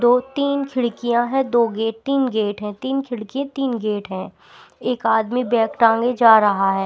दो-तीन खिड़कियाँ हैं दो गेट -तीन गेट हैं तीन खिड़की तीन गेट हैं एक आदमी बैग टाँंगे जा रहा है।